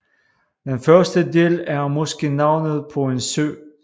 Den første del er måske navnet på en sø